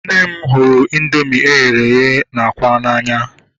Nne m hụrụ indoomị eghere eghe na ákwà n'anya